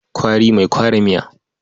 Kwari mai kwara miya.